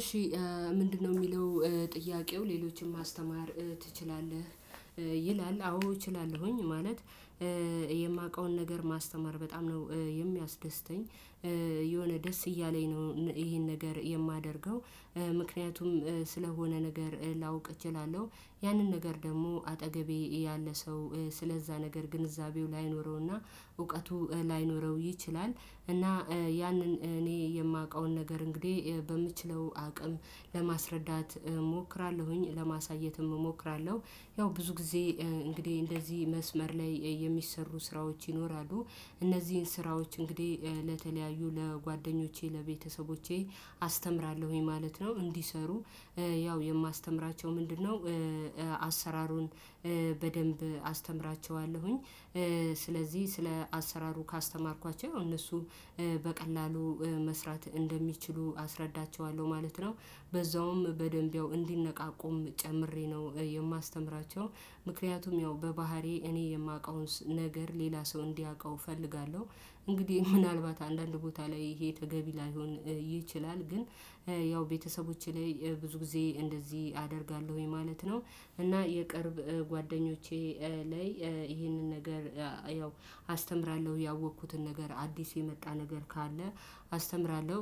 እሺ ምንድነው የሚለው ጥያቄው ሌሎችን ማስተማር ትችላለህ? ይላል አዎ እችላለሁኝ ማለት የማውቀውን ነገር ማስተማር በጣም ነው የሚያስደስተኝ የሆነ ደስ እያለኝ ነው ይሄን ነገር የማደርገው። ምክንያቱም ስለሆነ ነገር ላውቅ እችላለሁ ያንን ነገር ደግሞ አጠገቤ ያለ ሰው ስለዛ ነገር ግንዛቤው ላይኖረውና እውቀቱ ላይኖረው ይችላል። እና ያንን እኔ የማውቀውን ነገር እንግዲህ በምችለው አቅም ለማስረዳት እሞክራለሁኝ ለማሳየትም እሞክራለሁ። ያው ብዙ ጊዜ እንግዲህ እንደዚህ መስመር ላይ የሚሰሩ ስራዎች ይኖራሉ። እነዚህን ስራዎች እንግዲህ ለተለያዩ ለጓደኞቼ ለቤተሰቦቼ አስተምራለሁኝ ማለት ነው። እንዲሰሩ ያው የማስተምራቸው ምንድነው? አሰራሩን በደንብ አስተምራቸዋለሁኝ። ስለዚህ ስለ አሰራሩ ካስተማርኳቸው እነሱ በቀላሉ መስራት እንደሚችሉ አስረዳቸዋለሁ ማለት ነው። በዛውም በደንብ ያው እንዲነቃቁም ጨምሬ ነው የማስተምራቸው ምክንያቱም ያው በባህሪዬ እኔ የማውቀውን ነገር ሌላ ሰው እንዲያውቀው እፈልጋለሁ። እንግዲህ ምናልባት አንዳንድ ቦታ ላይ ይሄ ተገቢ ላይሆን ይችላል። ግን ያው ቤተሰቦቼ ላይ ብዙ ጊዜ እንደዚህ አደርጋለሁኝ ማለት ነው። እና የቅርብ ጓደኞቼ ላይ ይህንን ነገር ያው አስተምራለሁ ያወቅኩትን ነገር አዲስ የመጣ ነገር ካለ አስተምራለሁ።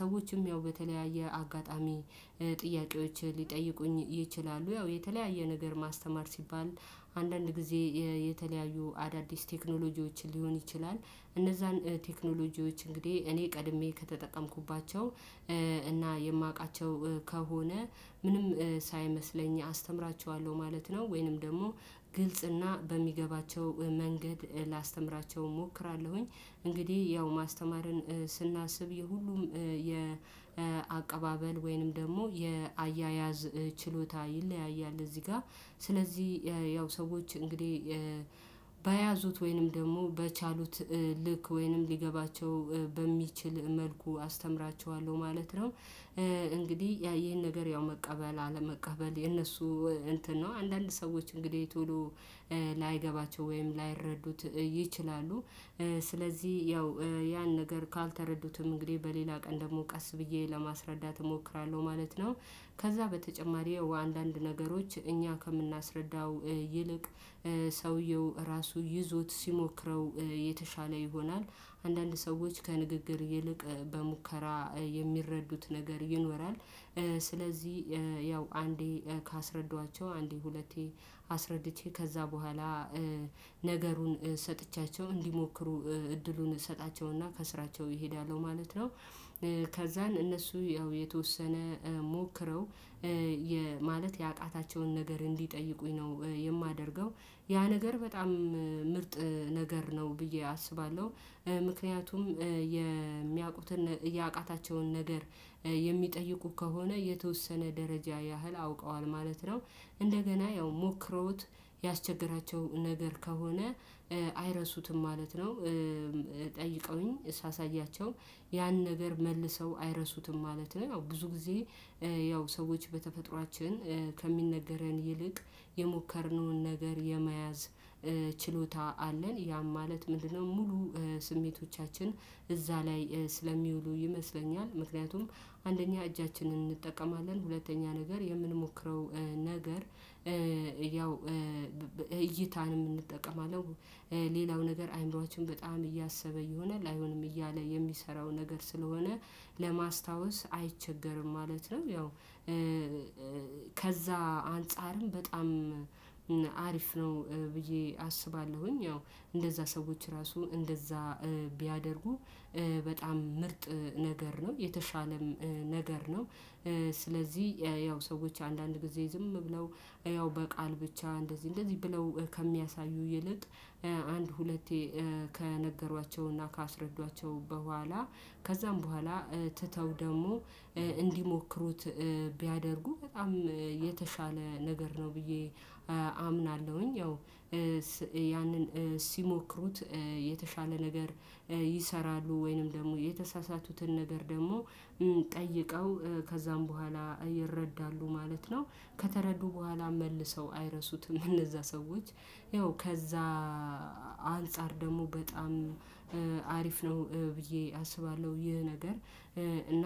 ሰዎችም ያው በተለያየ አጋጣሚ ጥያቄዎች ሊጠይቁኝ ይችላሉ ያው የተለያየ ነገር ማስተማር ሲባል አንዳንድ ጊዜ የተለያዩ አዳዲስ ቴክኖሎጂዎችን ሊሆን ይችላል። እነዛን ቴክኖሎጂዎች እንግዲህ እኔ ቀድሜ ከተጠቀምኩባቸው እና የማውቃቸው ከሆነ ምንም ሳይመስለኝ አስተምራቸዋለሁ ማለት ነው። ወይንም ደግሞ ግልጽ እና በሚገባቸው መንገድ ላስተምራቸው እሞክራለሁኝ። እንግዲህ ያው ማስተማርን ስናስብ የሁሉም የአቀባበል ወይንም ደግሞ የአያያዝ ችሎታ ይለያያል። እዚህ ጋር ስለዚህ ያው ሰዎች እንግዲህ በያዙት ወይንም ደግሞ በቻሉት ልክ ወይንም ሊገባቸው በሚችል መልኩ አስተምራቸዋለሁ ማለት ነው። እንግዲህ ያ ይሄን ነገር ያው መቀበል አለመቀበል የነሱ እንትን ነው አንዳንድ ሰዎች እንግዲህ ቶሎ ላይገባቸው ወይም ላይረዱት ይችላሉ። ስለዚህ ያው ያን ነገር ካልተረዱትም እንግዲህ በሌላ ቀን ደግሞ ቀስ ብዬ ለማስረዳት እሞክራለሁ ማለት ነው። ከዛ በተጨማሪ አንዳንድ ነገሮች እኛ ከምናስረዳው ይልቅ ሰውየው ራሱ ይዞት ሲሞክረው የተሻለ ይሆናል። አንዳንድ ሰዎች ከንግግር ይልቅ በሙከራ የሚረዱት ነገር ይኖራል። ስለዚህ ያው አንዴ ካስረዷቸው አንዴ ሁለቴ አስረድቼ ከዛ በኋላ ነገሩን ሰጥቻቸው እንዲሞክሩ እድሉን እሰጣቸውና ከስራቸው እሄዳለሁ ማለት ነው። ከዛን እነሱ ያው የተወሰነ ሞክረው ማለት ያቃታቸውን ነገር እንዲጠይቁኝ ነው የማደርገው ያ ነገር በጣም ምርጥ ነገር ነው። ብዬ አስባለሁ ምክንያቱም የሚያውቁትን ያቃታቸውን ነገር የሚጠይቁ ከሆነ የተወሰነ ደረጃ ያህል አውቀዋል ማለት ነው። እንደገና ያው ሞክረውት ያስቸገራቸው ነገር ከሆነ አይረሱትም ማለት ነው። ጠይቀውኝ ሳሳያቸው ያን ነገር መልሰው አይረሱትም ማለት ነው። አዎ ብዙ ጊዜ ያው ሰዎች በተፈጥሮአችን ከሚነገረን ይልቅ የሞከርነውን ነገር የመያዝ ችሎታ አለን ያም ማለት ምንድነው ሙሉ ስሜቶቻችን እዛ ላይ ስለሚውሉ ይመስለኛል። ምክንያቱም አንደኛ እጃችንን እንጠቀማለን ሁለተኛ ነገር የምንሞክረው ነገር ያው እይታን እንጠቀማለን ሌላው ነገር አእምሮአችን በጣም እያሰበ ይሆናል አይሆንም እያለ የሚሰራው ነገር ስለሆነ ለማስታወስ አይቸገርም ማለት ነው። ያው ከዛ አንፃርም በጣም አሪፍ ነው ብዬ አስባለሁኝ። ያው እንደዛ ሰዎች ራሱ እንደዛ ቢያደርጉ በጣም ምርጥ ነገር ነው የተሻለም ነገር ነው። ስለዚህ ያው ሰዎች አንዳንድ ጊዜ ዝም ብለው ያው በቃል ብቻ እንደዚህ እንደዚህ ብለው ከሚያሳዩ ይልቅ አንድ ሁለቴ ከነገሯቸውና ካስረዷቸው በኋላ ከዛም በኋላ ትተው ደግሞ እንዲሞክሩት ቢያደርጉ በጣም የተሻለ ነገር ነው ብዬ አምናለሁኝ። ያው ያንን ሲሞክሩት የተሻለ ነገር ይሰራሉ ወይንም ደግሞ የተሳሳቱትን ነገር ደግሞ ጠይቀው ከዛም በኋላ ይረዳሉ ማለት ነው። ከተረዱ በኋላ መልሰው አይረሱትም እነዛ ሰዎች ያው ከዛ አንፃር ደግሞ በጣም አሪፍ ነው ብዬ አስባለሁ። ይህ ነገር እና